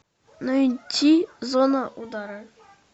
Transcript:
найти зона удара